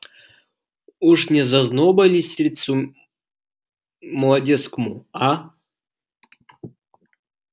уж не зазноба ли сердцу молодецкому а